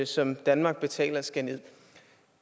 som danmark betaler skal nederst